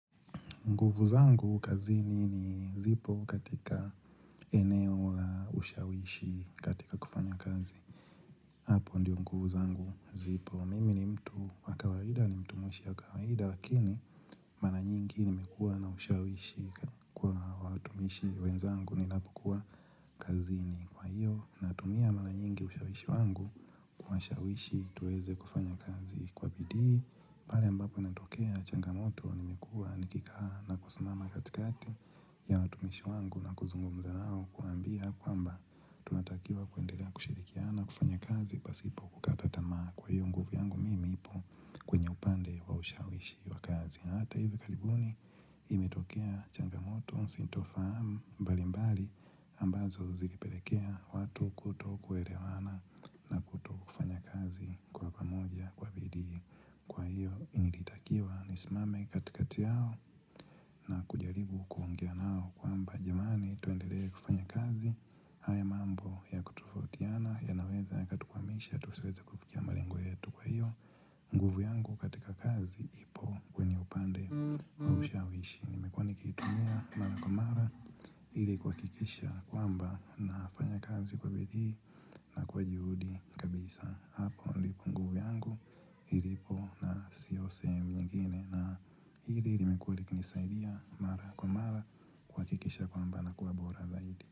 Nguvu zangu kazi ni ni zipo katika eneo la ushawishi katika kufanya kazi. Hapo ndiyo nguvu zangu zipo. Mimi ni mtu wakawaida ni mtu mwishi wakawaida. Lakini mala nyingi nimekua na ushawishi kwa watumishi wenzangu ni lapu kwa kazi ni kwa hiyo. Natumia mala nyingi ushawishi wangu kwa ushawishi tuweze kufanya kazi kwa bidii. Bale ambapo inatokea changamoto ni mikua nikikaha na kusumama katikati ya watumishi wangu na kuzungumza nao kuambia kwamba tumatakiwa kuendeka kushirikiana kufanya kazi pasipo kutama kwa hiyo nguvu yangu mimi ipo kwenye upande waushawishi wa kazi. Hata hivyo kalibuni imetokea changamoto, sintofahamu mbali mbali ambazo zilipelekea watu kutokuwelewana na kutiao na kujimani ito eni kazi haya mambo ya kututiana ya naweza ya katukwamisha ya tuweza kufuwa hiyo nguvu yangu katika kazi kwamba nafanya kazi kwa beli na kwa juhudi kabisa hapo ndipo nguvu yangu ilipo na siyo sehemu nyingine na hili ilimekuwelekinisaidia mara kwa mara Kwa kikisha kwa amba na kuwabora zaidi.